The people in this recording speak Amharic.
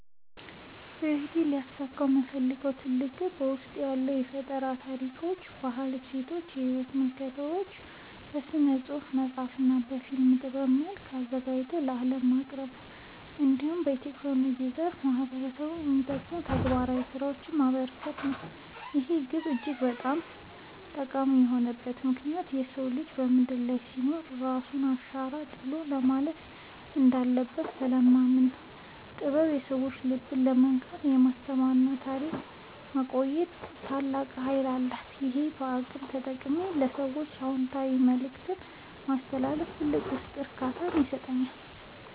በሕይወቴ ሊያሳካው የምፈልገው ትልቁ ግብ በውስጤ ያሉትን የፈጠራ ታሪኮች፣ የባህል እሴቶችና የሕይወት ምልከታዎች በሥነ-ጽሑፍ (በመጽሐፍ) እና በፊልም ጥበብ መልክ አዘጋጅቶ ለዓለም ማቅረብ፣ እንዲሁም በቴክኖሎጂው ዘርፍ ማኅበረሰቤን የሚጠቅሙ ተግባራዊ ሥራዎችን ማበርከት ነው። ይህ ግብ ለእኔ እጅግ ጠቃሚ የሆነበት ምክንያት የሰው ልጅ በምድር ላይ ሲኖር የራሱን አሻራ ጥሎ ማለፍ እንዳለበት ስለማምን ነው። ጥበብ የሰዎችን ልብ የመንካት፣ የማስተማርና ታሪክን የማቆየት ታላቅ ኃይል አላት፤ ይህንን አቅም ተጠቅሜ ለሰዎች አዎንታዊ መልእክት ማስተላለፍ ትልቅ የውስጥ እርካታን ይሰጠኛል።